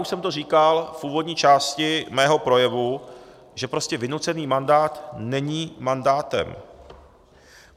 Už jsem to říkal v úvodní části svého projevu, že prostě vynucený mandát není mandátem.